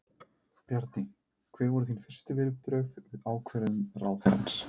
Bjarni, hver voru þín fyrstu viðbrögð við ákvörðun ráðherrans?